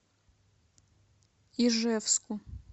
ижевску